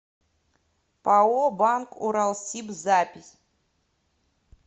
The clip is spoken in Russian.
пао банк уралсиб запись